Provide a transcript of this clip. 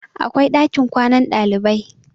akwai ɗakin kwanan ɗalibai